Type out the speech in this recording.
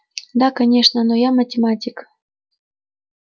да конечно но я математик